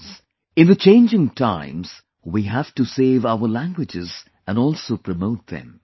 Friends, in the changing times we have to save our languages and also promote them